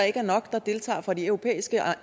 ikke er nok der deltager fra de europæiske